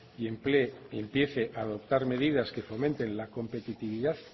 y emplee y empiece a adoptar medidas que fomenten la competitividad